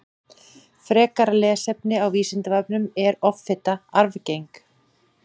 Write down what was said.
Frekara lesefni á Vísindavefnum Er offita arfgeng?